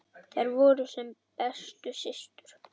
Þær voru sem bestu systur.